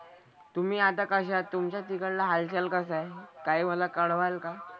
तुम्ही आता कशा आहात? तुमचा तिकडला हालचाल कसा आहे? काही मला कळवाल का?